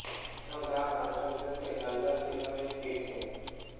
यह गांव आंध्र प्रदेश के नल्लोर जिले में स्थित है